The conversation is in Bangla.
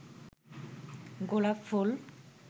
গোলাপফুল